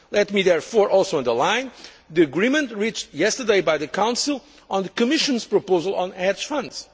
Let me therefore also underline the agreement reached yesterday by the Council on the Commission's proposal on hedge